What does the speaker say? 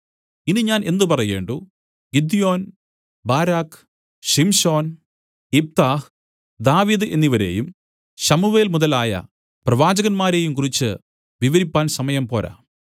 ഇനി ഞാൻ എന്ത് പറയേണ്ടു ഗിദ്യോൻ ബാരാക്ക് ശിംശോൻ യിപ്താഹ് ദാവീദ് എന്നവരെയും ശമൂവേൽ മുതലായ പ്രവാചകന്മാരെയും കുറിച്ച് വിവരിപ്പാൻ സമയം പോരാ